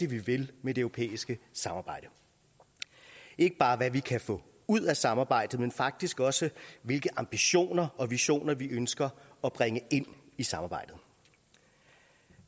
vi vil med det europæiske samarbejde ikke bare hvad vi kan få ud af samarbejdet men faktisk også hvilke ambitioner og visioner vi ønsker at bringe ind i samarbejdet